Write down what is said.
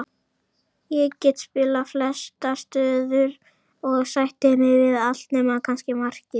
Ég get spilað flestar stöður og sætti mig við allt nema kannski markið.